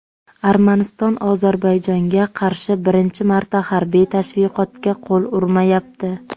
Armaniston Ozarbayjonga qarshi birinchi marta harbiy tashviqotga qo‘l urmayapti.